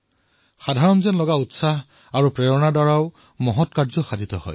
সামান্য যেন বোধ হোৱা প্ৰেৰণাৰ বহু ডাঙৰ কাম হব পাৰে